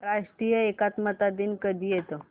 राष्ट्रीय एकात्मता दिन कधी येतो